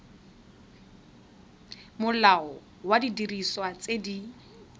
molao wa didiriswa tse di